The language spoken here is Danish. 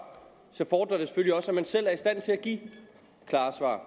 så fordrer det selvfølgelig også at man selv er i stand til at give klare svar